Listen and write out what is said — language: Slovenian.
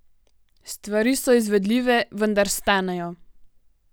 Stvari so izvedljive, vendar stanejo.